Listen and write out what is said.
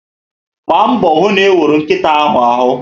Mgba mbọ hụ na iwuru nkịta ahụ arụ